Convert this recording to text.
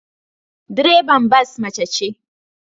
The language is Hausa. Direban bas mace ce